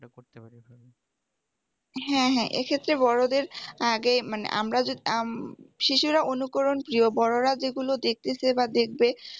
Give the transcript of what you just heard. হ্যাঁ হ্যাঁ এক্ষেত্রে বড়দের আগে মানে আমরা যদি উম শিশুরা অনুকরণ প্রিয় বড়রা যেগুলো দেখেতেছে বা দেখবে